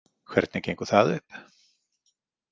Hvernig gengur það upp?